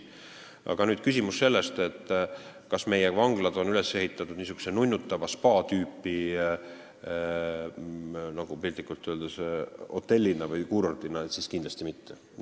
Aga kui te küsite, kas meie vanglad on üles ehitatud nunnutava, spaa tüüpi, piltlikult öeldes, hotelli või kuurordina, siis kindlasti mitte.